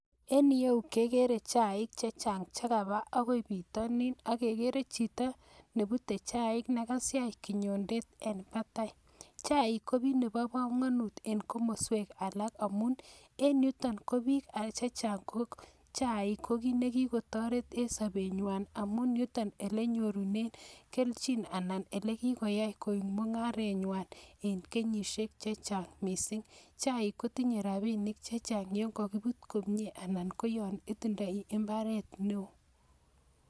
En ireyu kegere chaik chechang chekabaa akoi bitonin ak keere chito nebute chaik nekasiach kinyondeet en batai. Chaik ko kit nebokomonut en komoswek alak amun en yuton ko biik chechang ko chaik ko kiit nekikotoret en sobenywan amun yuton elenyorunen kelchin anan elekoyai koik mungarenywan en kenyisiek chechang missing. Chaik kotinye rabinik chechang yon kokibuut komie, anan ko yon itindoi imbaaret neo